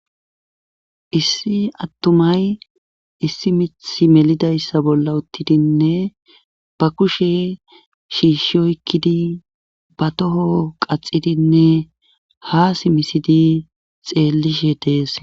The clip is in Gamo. Issi attumay issi mithi melidayssa bolla uttidinne ba kushe shiishsh oykkidi ba toho qaxidinne ha simisidi xeellishe dees.